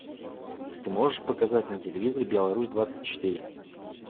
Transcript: ты можешь показать на телевизоре беларусь двадцать четыре